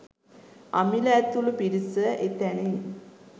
අමිල ඇතුළු පිරිස එතැනින්